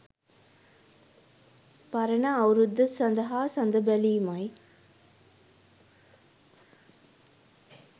පරණ අවුරුද්ද සඳහා සඳ බැලීමයි